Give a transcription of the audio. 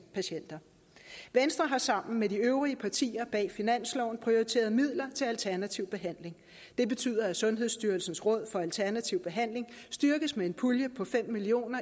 patienter venstre har sammen med de øvrige partier bag finansloven prioriteret midler til alternativ behandling det betyder at sundhedsstyrelsens råd for alternativ behandling styrkes med en pulje på fem million